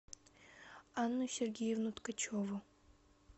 анну сергеевну ткачеву